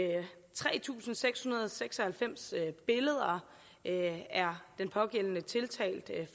tre tusind seks hundrede og seks og halvfems billeder er den pågældende tiltalt